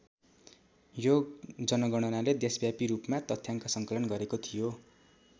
यो जनगणनाले देशव्यापी रूपमा तथ्याङ्क सङ्कलन गरेको थियो।